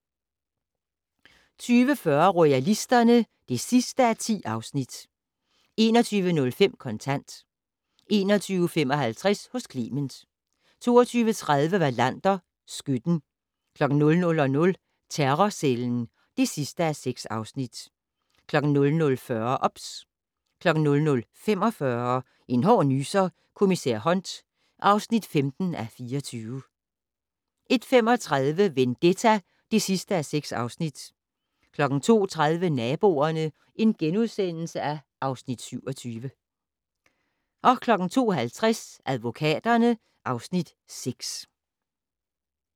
20:40: Royalisterne (10:10) 21:05: Kontant 21:55: Hos Clement 22:30: Wallander: Skytten 00:00: Terrorcellen (6:6) 00:40: OBS 00:45: En hård nyser: Kommissær Hunt (15:24) 01:35: Vendetta (6:6) 02:30: Naboerne (Afs. 27)* 02:50: Advokaterne (Afs. 6)